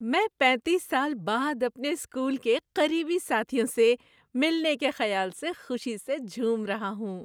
میں پینتیس سال بعد اپنے اسکول کے قریبی ساتھیوں سے ملنے کے خیال سے خوشی سے جھوم رہا ہوں۔